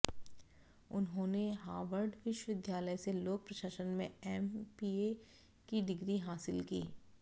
उन्होंने हार्वर्ड विश्वविद्यालय से लोक प्रशासन में एमपीए की डिग्री हासिल की